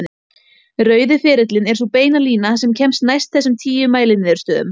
Rauði ferillinn er sú beina lína sem kemst næst þessum tíu mæliniðurstöðum.